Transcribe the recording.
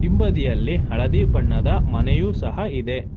ಹಿಂಬದಿಯಲ್ಲಿ ಹಳದಿ ಬಣ್ಣದ ಮನೆಯು ಸಹ ಇದೆ.